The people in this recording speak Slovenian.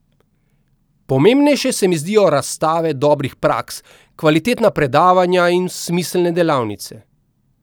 Pomembnejše se mi zdijo razstave dobrih praks, kvalitetna predavanja in smiselne delavnice.